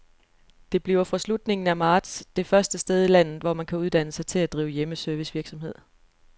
Det bliver fra slutningen af marts det første sted i landet, hvor man kan uddanne sig til at drive hjemmeservicevirksomhed.